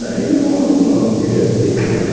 Daí levamos uma divertência lá.